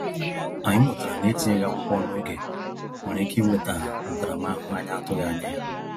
Anyị mụtara na etinyeghị akwụkwọ n’oge nwere ike iweta ntaramahụhụ anyị na-atụghị anya ya.